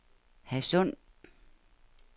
Hadsund